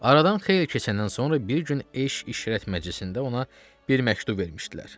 Aradan xeyli keçəndən sonra bir gün eşq-işrət məclisində ona bir məktub vermişdilər.